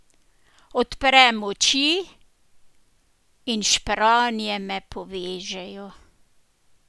Odprem oči in špranje me povežejo.